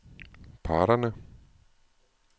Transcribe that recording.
parterne